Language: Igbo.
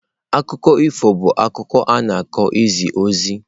Akụkọ ifo bụ akụkọ a na-akọ izi ozi.